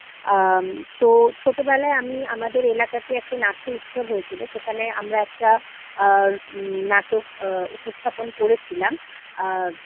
আম তো ছোটবেলায় আমি আমাদের এলাকাতে একটা নাট্য উৎসব হয়েছিল তো সেখানে আমরা একটা আ নাটক আ উপস্থাপন করেছিলাম আ